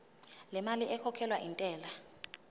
lemali ekhokhelwa intela